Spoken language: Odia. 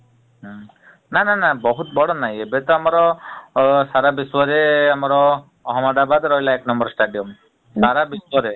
ହୁଁ ନା ନା ନା ବହୁତ୍ ବଡ ନାଇ ଏବେତ ଆମର ଅ ସାରା ବିଶ୍ୱରେ ଆମର ଅହମ୍ମଦାବାଦ୍ ରହିଲା ଏକ number stadium ସାରା ବିଶ୍ୱରେ ।